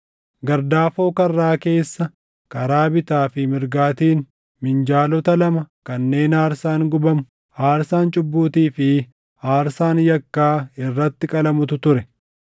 Gardaafoo karraa keessa karaa bitaa fi mirgaatiin minjaalota lama kanneen aarsaan gubamu, aarsaan cubbuutii fi aarsaan yakkaa irratti qalamutu ture.